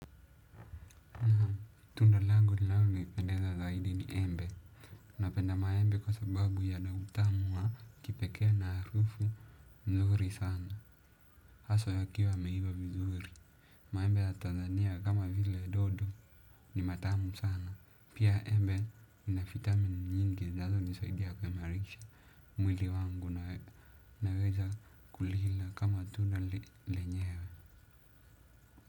Tundalango linalonipendeza zaidi ni embe napenda maembe kwa sababu ya na utamu wa kipeke na harufu nzuri sana. Haswa yakiwa yameiva vizuri. Maembe ya Tanzania kama vile dodo ni matamu sana. Pia embe ina fitamini nyingi zazo nisaidia kwa marikisha. Mwili wangu unaweza.